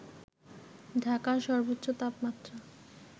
ঢাকার সর্বোচ্চ তাপমাত্রা